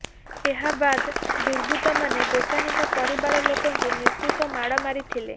ଏହା ବାଦ ଦୁର୍ବୃତ୍ତମାନେ ଦୋକାନୀଙ୍କ ପରିବାର ଲୋକଙ୍କୁ ନିସ୍ତୁକ ମାଡ଼ମାରିଥିଲେ